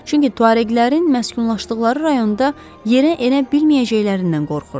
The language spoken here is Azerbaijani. Çünki tuareqlərin məskunlaşdıqları rayonda yerə enə bilməyəcəklərindən qorxurdu.